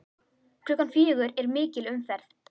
Klukkan fjögur er mikil umferð.